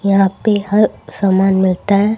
यहां पे हर सामान मिलता है।